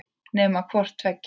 Nema hvort tveggja væri.